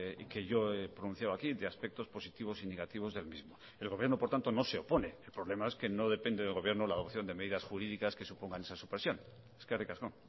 y que yo he pronunciado aquí de aspectos positivos y negativos del mismo el gobierno por tanto no se opone el problema es que no depende del gobierno la adopción de medidas jurídicas que supongan esa supresión eskerrik asko